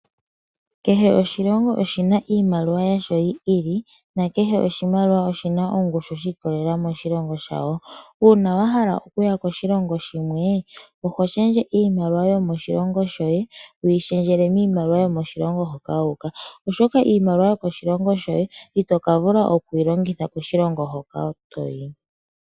Kehe oshilongo oshi na iimaliwa yasho yi ili nakehe oshimaliwa oshi na ongushu shi ikolelela koshilongo shawo. Uuna wa hala okuya koshilongo shimwe oho shendje iimaliwa yomoshilongo shoye wu yi shendjele miimaliwa yomoshilongo moka wu uka, oshoka iimaliwa yomoshilongo shoye ito ka vula okuyi longitha koshilongo hoka to yi.